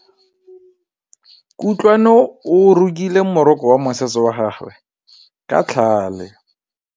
Kutlwanô o rokile morokô wa mosese wa gagwe ka tlhale.